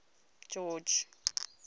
george